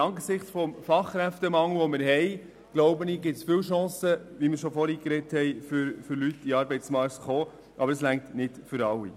Angesichts des vorhandenen Fachkräftemangels gibt es viele Chancen für die entsprechenden Personen, in den Arbeitsmarkt zu gelangen, aber es reicht nicht für alle.